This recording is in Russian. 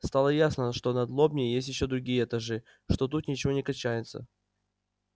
стало ясно что над лобней есть ещё другие этажи что тут ничего не кончается